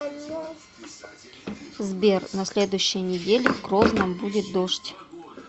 сбер на следующей неделе в грозном будет дождь